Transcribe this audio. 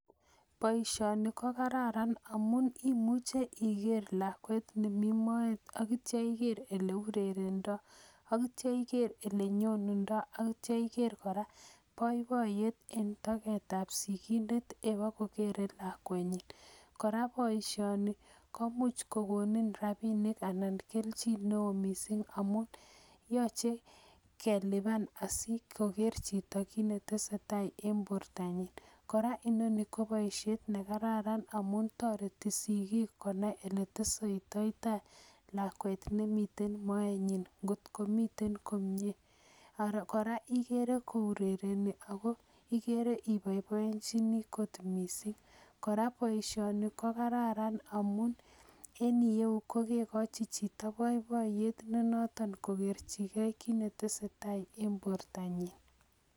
Boisioni ko kararan amun i'muche iger lakwet ne mi moet akityo iger ole urerendoy akityo iger ole nyondendoy akityo koraa poipoet eng' toket ab sigikindet ikobokere lakwet nyin koraa boisioni ko much kogonin rapinik anan keljin neo mising' amun yachei kelipan asukoger chito kiit netesetai eng' porto nyin koraa inoni kopaisiet nekararan amun toreti sigik konay kiy neteseitotoy lakwet nemiten moet nyin ngotko miten komnyee ara koraa igere kourereni ikere ipoipoichini akot mising' koraa boisioni ko kararan amun en iyeu kokegochi chito poipoet nenoton kogerchigei kiy netesetai eng' porto nyin.